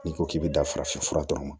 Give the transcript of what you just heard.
N'i ko k'i bɛ da farafinfura dɔrɔn